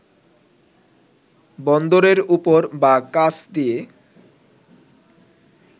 বন্দরের ওপর বা কাছ দিয়ে